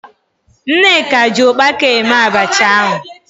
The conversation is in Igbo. Nneka ji ụkpaka eme abacha ahụ.